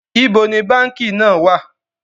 Ibo ni báńkì náà wà?